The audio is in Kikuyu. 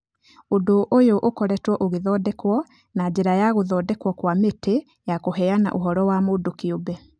Ũndũ ũyũ ũkoretwo ũgĩthondekwo na njĩra ya gũthondekwo kwa Mĩtĩ ya Kũheana Ũhoro wa Mũndũ Kĩũmbe